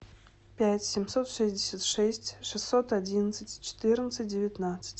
пять семьсот шестьдесят шесть шестьсот одиннадцать четырнадцать девятнадцать